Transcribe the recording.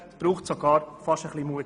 Es braucht sogar ein bisschen Mut.